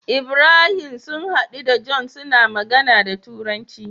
Ibrahim sun hadu da john suna magAna da turanci